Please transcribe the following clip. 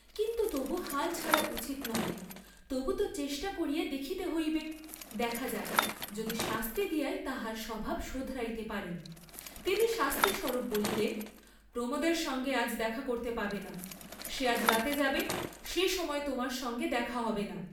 কিন্তু তবু হাল ছাড়া উচিত নহে, তবু তো চেষ্টা করিয়া দেখিতে হইবে, দেখা যাক, যদি শাস্তি দিয়াই তাহার স্বভাব শোধরাইতে পারেন, তিনি শাস্তি স্বরূপ বলিলেন, প্রমোদের সঙ্গে আজ দেখা করতে পাবে না, সে আজ রাতে যাবে, সে সময় তোমার সঙ্গে দেখা হবে না।